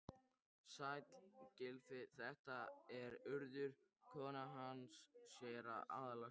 Sæll, Gylfi, þetta er Urður, konan hans séra Aðal steins.